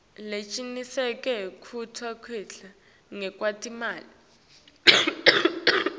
lecinisekisa kuncika ngekwetimali